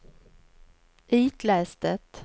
itläs det